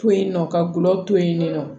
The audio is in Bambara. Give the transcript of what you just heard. To yen nɔ ka gulɔ to yen nɔ